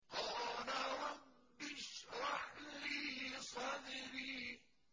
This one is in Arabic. قَالَ رَبِّ اشْرَحْ لِي صَدْرِي